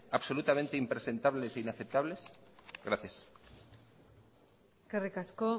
absolutamente impresentables e inaceptables gracias eskerrik asko